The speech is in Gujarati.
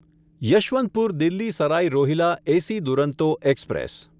Yesvantpur Delhi Sarai Rohilla AC Duronto express